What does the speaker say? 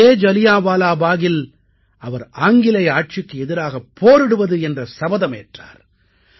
அதே ஜலியான்வாலாபாகில் அவர் ஆங்கிலேய ஆட்சிக்கு எதிராகப் போரிடுவது என்ற சபதமேற்றார்